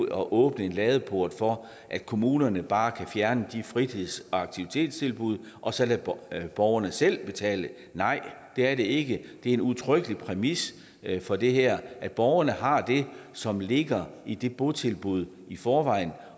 at åbne en ladeport for at kommunerne bare kan fjerne de fritids og aktivitetstilbud og så lade borgerne selv betale nej det er det ikke det er en udtrykkelig præmis for det her at borgerne har det som ligger i det botilbud i forvejen